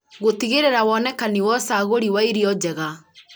gũtigĩrĩra wonekani wa ũcagũri wa irio njega